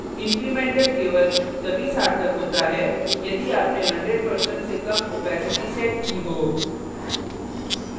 incremental केवल तभी सार्थक होता है यदि आपने 100% से कम opacity सेट की हो